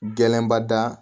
Gɛlɛnba da